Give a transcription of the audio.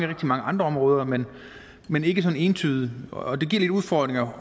rigtig mange andre områder men men ikke sådan entydigt og det giver lidt udfordringer